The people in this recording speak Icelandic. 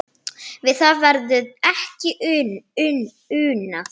Við það verður ekki unað